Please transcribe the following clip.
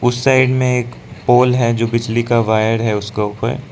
उस साइड में एक पोल है जो बिजली का वायर है उसका ऊपर।